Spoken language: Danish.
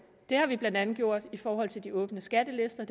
det har vi blandt andet gjort i forhold til de åbne skattelister